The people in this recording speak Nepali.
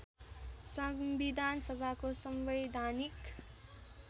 संविधान सभाको संवैधानिक